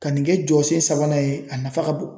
Ka nin kɛ jɔsen sabanan ye a nafa ka bon